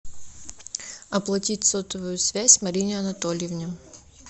оплатить сотовую связь марине анатольевне